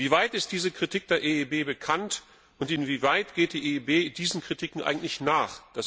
Wie weit ist diese Kritik der EIB bekannt, und inwieweit geht die EIB diesen Kritiken eigentlich nach?